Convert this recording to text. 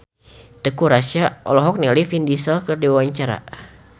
Teuku Rassya olohok ningali Vin Diesel keur diwawancara